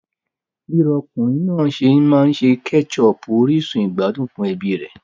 Bi ọkùnrin náà se n maa n se pelu keshopu orísun ìgbádùn fún ẹbí rẹ̀.